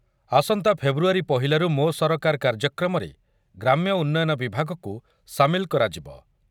ଆସନ୍ତା ଫେବୃୟାରୀ ପହିଲାରୁ ମୋ ସରକାର କାର୍ଯ୍ୟକ୍ରମରେ ଗ୍ରାମ୍ୟ ଉନ୍ନୟନ ବିଭାଗକୁ ସାମିଲ କରାଯିବ ।